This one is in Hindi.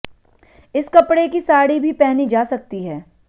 इस कपड़े की साड़ी भी पहनी जा सकती है